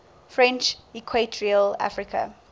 french equatorial africa